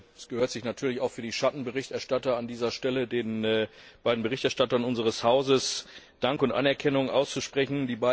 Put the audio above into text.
Es gehört sich natürlich auch für die Schattenberichterstatter, an dieser Stelle den beiden Berichterstattern unseres Hauses Dank und Anerkennung auszusprechen.